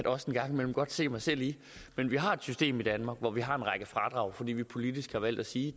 også en gang imellem se mig selv i men vi har et system i danmark hvor vi har en række fradrag fordi man politisk har valgt at sige